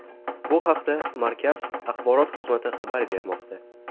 Bu haqda markaz axborot xizmati xabar bermoqda .